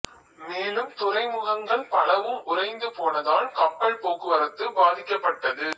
மேலும் துறைமுகங்கள் பலவும் உறைந்து போனதால் கப்பல் போக்குவரத்து பாதிக்கப்பட்டது